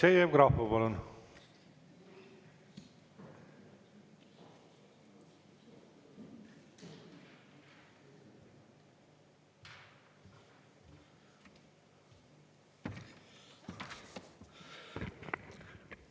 Aleksei Jevgrafov, palun!